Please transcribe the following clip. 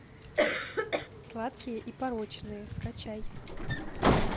сладкие и порочные скачай